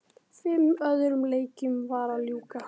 Fimm öðrum leikjum var að ljúka